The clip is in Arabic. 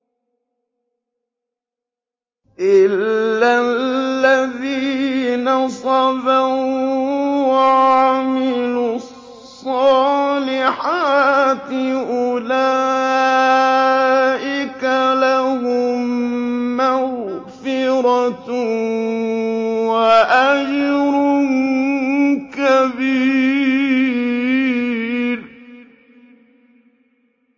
إِلَّا الَّذِينَ صَبَرُوا وَعَمِلُوا الصَّالِحَاتِ أُولَٰئِكَ لَهُم مَّغْفِرَةٌ وَأَجْرٌ كَبِيرٌ